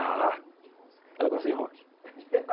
Ah...Ela gosta de rock